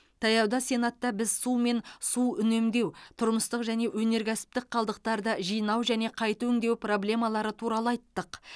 таяуда сенатта біз су мен су үнемдеу тұрмыстық және өнеркәсіптік қалдықтарды жинау және қайта өңдеу проблемалары туралы айттық